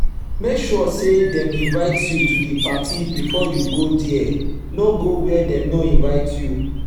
make sure say dem invite you to di parti before you go there no go where dem no invite you